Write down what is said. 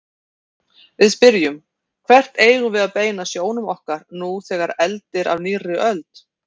Við spyrjum: Hvert eigum við að beina sjónum okkar nú þegar eldir af nýrri öld?